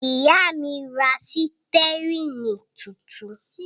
Ìyá mi ra sítẹ́rínì tuntun.